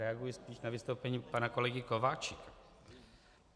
Reaguji tím na vystoupení pana kolegy Kováčika.